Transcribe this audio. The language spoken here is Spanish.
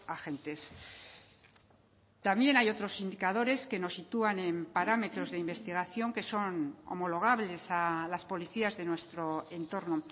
agentes también hay otros indicadores que nos sitúan en parámetros de investigación que son homologables a las policías de nuestro entorno